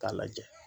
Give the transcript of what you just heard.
K'a lajɛ